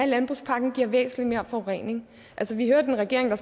landbrugspakken giver væsentlig mere forurening altså vi hørte en regering og